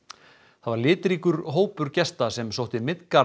það var litríkur hópur gesta sem sótti